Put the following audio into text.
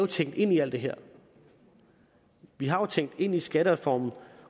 tænkt ind i alt det her vi har jo tænkt ind i skattereformen